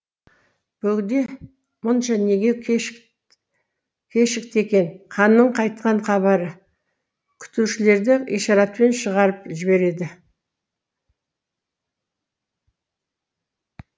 бөгдемұнша неге кешікті екенханның қайтқан хабары күтушілерді ишаратпен шығарып жібереді